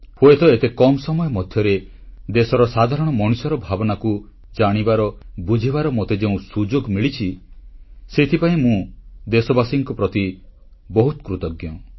ହୁଏତ ଏତେ କମ୍ ସମୟ ମଧ୍ୟରେ ଦେଶର ସାଧାରଣ ମଣିଷର ଭାବନାକୁ ଜାଣିବାବୁଝିବାର ମୋତେ ଯେଉଁ ସୁଯୋଗ ମିଳିଛି ସେଥିପାଇଁ ମୁଁ ଦେଶବାସୀଙ୍କ ପ୍ରତି ବହୁତ କୃତଜ୍ଞ